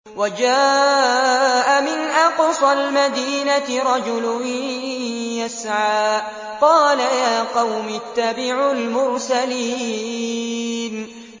وَجَاءَ مِنْ أَقْصَى الْمَدِينَةِ رَجُلٌ يَسْعَىٰ قَالَ يَا قَوْمِ اتَّبِعُوا الْمُرْسَلِينَ